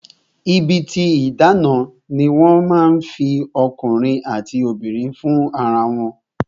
Ibi tí ìdáná ni wọ́n ti máa ń fi ọkùnrin àti obìnrin fún ara wọn